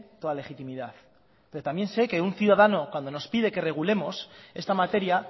toda legitimidad pero también sé que un ciudadano cuando nos pide que regulemos esta materia